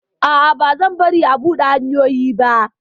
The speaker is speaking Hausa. A'a, bazan bari a buɗe hanyoyin ba!